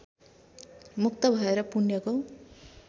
मुक्त भएर पुण्यको